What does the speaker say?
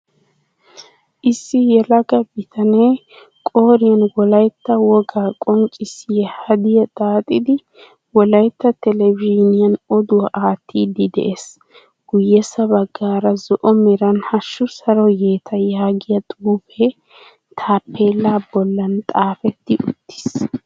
Issi yelaga bitanee qooriyan wolaytta wogaa qonccissiya hadiyaa xaaxidi wolaytta televizhiiniyan oduwaa aattiiddi de'ees Guyyessa baggaara zo'o meran hashu Saro yeeta yaagiya xuufee tappella bollan xaafetti uttis